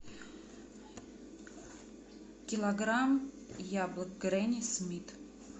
килограмм яблок гренни смит